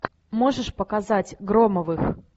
можешь показать громовых